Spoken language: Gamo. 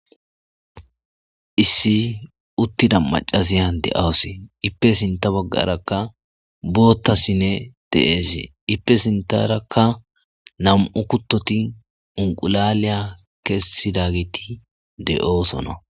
Issi uttida macaziya de7awose ippe sinta baggarakka boottasinne te7eese ipe sintarakka nam7u kuttoti unqulaliya kessidagiti de'oosona.